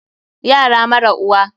Yara mara uwa.